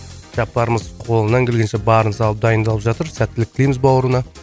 жаппарымыз қолынан келгенше барын салып дайындалып жатыр сәттілік тілейміз бауырына